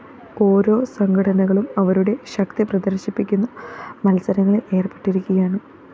ഓരോ സംഘടനകളും അവരുടെ ശക്തിപ്രദര്‍ശിപ്പിക്കുന്ന മത്സരങ്ങളില്‍ ഏര്‍പ്പെട്ടിരിക്കുകയാണ്